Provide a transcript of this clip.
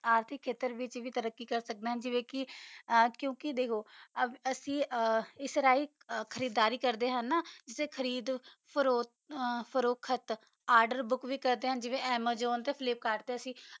ਅਰਜੀ ਖਾਟਰ ਵਿਤਚ ਵੀ ਅਸੀਂ ਤਰਕ੍ਕੀ ਕਰ ਸਕਦਾ ਆ ਅਸੀਂ ਅਸਰੀ ਖਾਰ੍ਦਾਰੀ ਕਰ ਦਾ ਆ ਹਾਨਾ ਖਾਰ੍ਡੋ ਫ੍ਰੋਹਤ ਆਰਡਰ ਬੂਕ ਵੀ ਕਰਦਾ ਆ ਜੀਵਾ ਅਮਜੋੰ ਤਾ ਵੀ ਫ੍ਲਿਪ ਕਰਦਾ ਸੀ